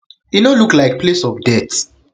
e no look like place of death